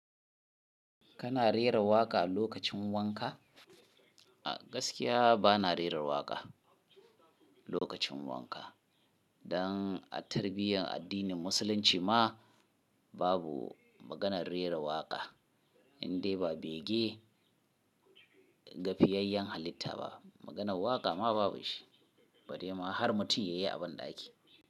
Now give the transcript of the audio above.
Kana rera waƙa a lokacin wanka? A gaskiya bana rera waƙa lokacin wanka. Dan a tarbiyyar addinin musulunci ma babu maganar rera waƙa indai ba bege ga fiyayyen halitta ba. Maganar waƙa ma babu shi, bare ma har mutum ya yi banɗaki.